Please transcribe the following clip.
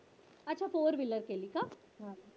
अच्छा Fourwheeler केली का?